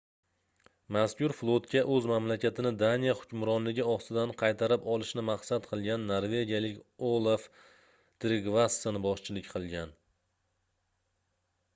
mazkur flotga oʻz mamlakatini daniya hukmronligi ostidan qaytarib olishni maqsad qilgan norvegiyalik olaf trigvasson boshchilik qilgan